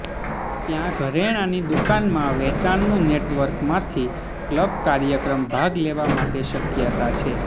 ત્યાં ઘરેણાંની દુકાનમાં વેચાણનું નેટવર્ક માંથી ક્લબ કાર્યક્રમ ભાગ લેવા માટે શક્યતા છે